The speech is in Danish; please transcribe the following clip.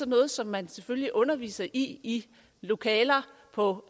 noget som man selvfølgelig underviser i i lokaler på